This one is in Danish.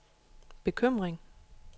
bekymring